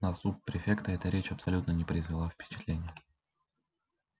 на суб-префекта эта речь абсолютно не произвела впечатления